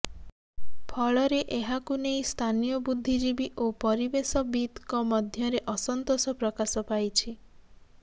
ଫଳରେ ଏହାକୁ ନେଇ ସ୍ଥାନୀୟ ବୁଦ୍ଧିଜୀବୀ ଓ ପରିବେଶବିତ୍ଙ୍କ ମଧ୍ୟରେ ଅସନ୍ତୋଷ ପ୍ରକାଶ ପାଇଛି